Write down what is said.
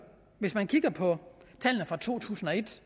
hvis man kigger på tallene fra to tusind og et